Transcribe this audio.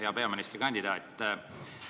Hea peaministrikandidaat!